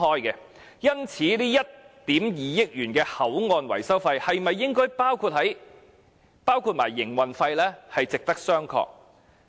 因此，這1億 5,000 萬元的口岸維修費應否包含營運費，是值得商榷的。